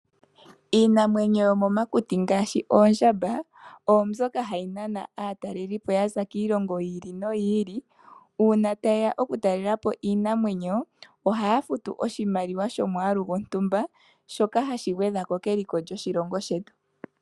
Iinamwenyo yo momakuti ngaashi oondjamba oomboka hayi nana aatalelipo ya za kiilongo yi ili noyi ili. Uuna taye ya okutalela po iinamwenyo ohaya futu oshimaliwa sho mwaalu gontumba, shoka hashi gwedha ko keliko lyoshilongo shetu.